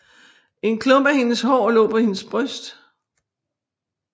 En klump af hendes hår lå på hendes bryst